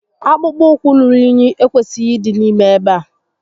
Akpụkpọ ụkwu ruru únyí ekwesịghị ịdị n'ime ebe a